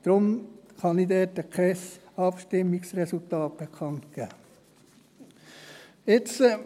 Darum kann ich dazu kein Abstimmungsresultat bekannt geben.